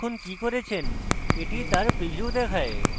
এতক্ষণ আপনি কি করেছেন that তার preview দেখায়